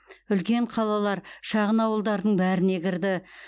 үлкен қалалар шағын ауылдардың бәріне кірді